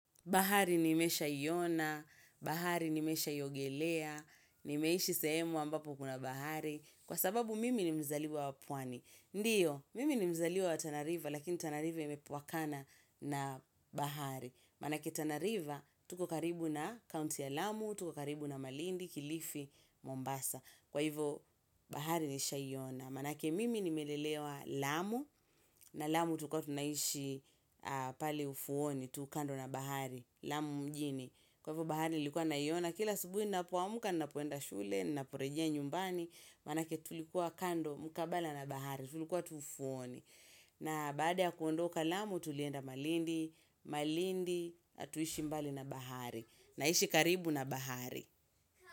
Bahari nimeshaiona, bahari nimeshaiogelea, nimeishi sehemu ambapo kuna bahari, kwa sababu mimi ni mzaliwa wa pwani. Ndiyo, mimi ni mzaliwa wa Tana river, lakini Tana river imepwakana na bahari. Manake Tana river, tuko karibu na County ya lamu, tuko karibu na Malindi, Kilifi, Mombasa. Kwa hivo, bahari nishawai ona. Manake mimi nimelelewa lamu, na lamu tulikua tunaishi pali ufuoni, tu kando la bahari. Lamu mjini. Kwa hivyo bahari nilikuwa naiona. Kila asubuhi ninapo amka ninapoenda shule, ninaporejea nyumbani manake tulikuwa kando mkabala na bahari. Tulikuwa tu ufuoni. Na baada ya kuondoka lamu tulienda malindi. Malindi hatuishi mbali na bahari. Naishi karibu na bahari.